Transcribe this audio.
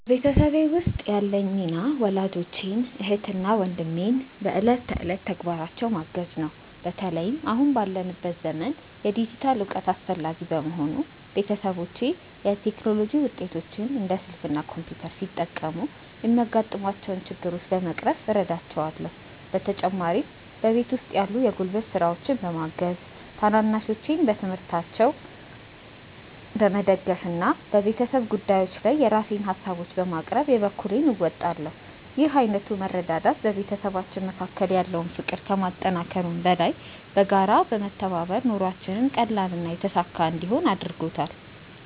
በቤተሰቤ ውስጥ ያለኝ ሚና ወላጆቼን፣ እህትና ወንድሜን በዕለት ተዕለት ተግባራቸው ማገዝ ነው። በተለይም አሁን ባለንበት ዘመን የዲጂታል እውቀት አስፈላጊ በመሆኑ፣ ቤተሰቦቼ የቴክኖሎጂ ውጤቶችን (እንደ ስልክ እና ኮምፒውተር) ሲጠቀሙ የሚያጋጥሟቸውን ችግሮች በመቅረፍ እረዳቸዋለሁ። በተጨማሪም በቤት ውስጥ ያሉ የጉልበት ስራዎችን በማገዝ፣ ታናናሾቼን በትምህርታቸው በመደገፍ እና በቤተሰብ ጉዳዮች ጊዜ የራሴን ሃሳቦችን በማቅረብ የበኩሌን እወጣለሁ። ይህ ዓይነቱ መረዳዳት በቤተሰባችን መካከል ያለውን ፍቅር ከማጠናከሩም በላይ፣ በጋራ በመተባበር ኑሯችንን ቀላልና የተሳካ እንዲሆን አድርጎታል።